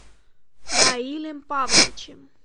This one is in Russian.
раилем павловичем